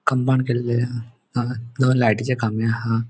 कंपाउंड केल्ले हा हांगा दोन लायटीचे खामे हा.